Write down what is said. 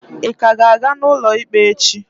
Ịka ga-aga n'ụlọ ikpe echi?